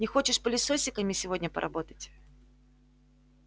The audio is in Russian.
не хочешь пылесосиками сегодня поработать